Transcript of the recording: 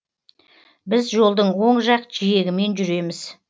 біз жолдың оң жақ жиегімен жүреміз